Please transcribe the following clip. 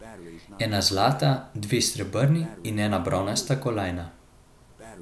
Ena zlata, dve srebrni in ena bronasta kolajna.